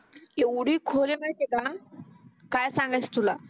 काय सांगायचे तुला